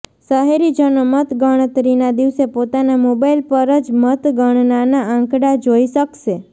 શહેરીજનો મતગણતરીના દિવસે પોતાના મોબાઈલ પર જ મતગણનાના આંકડા જોઈ શકશે